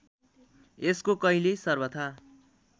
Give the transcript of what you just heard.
यसको कहिल्यै सर्वथा